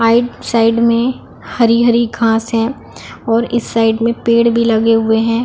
Right side में हरी -हरी घास है और इस साइड में पेड़ भी लगे हुए है।